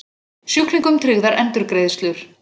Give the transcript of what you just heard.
Sjúklingum tryggðar endurgreiðslur